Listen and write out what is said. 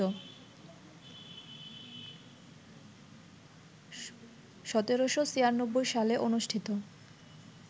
১৭৯৬ সালে অনুষ্ঠিত